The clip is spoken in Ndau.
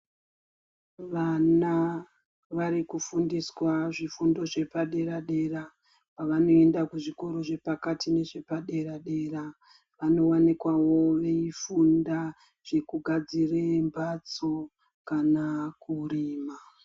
Vana vari kufundiswa zvifundo zvepadera-dera, pavanoenda kuzvikoro zvepakati nezvepadera-dera, vanowanikwawo veyifunda zvekugadzire mbatso kana kurima.